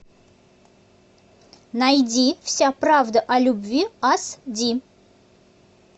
найди вся правда о любви аш ди